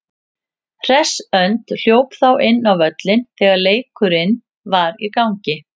Hress önd hljóp þá inn á völlinn þegar leikurinn var í gangi.